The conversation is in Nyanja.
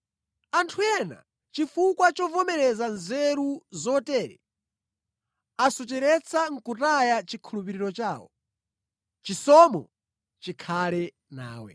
Anthu ena chifukwa chovomereza nzeru zotere, asochera nʼkutaya chikhulupiriro chawo. Chisomo chikhale nawe.